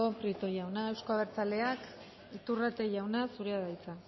prieto jauna euzko abertzaleak iturrate jauna zure da hitza